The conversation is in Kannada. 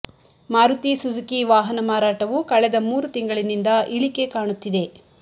ಮಾರುತಿ ಸುಜುಕಿ ವಾಹನ ಮಾರಾಟವು ಕಳೆದ ಮೂರು ತಿಂಗಳಿನಿಂದ ಇಳಿಕೆ ಕಾಣುತ್ತಿದೆ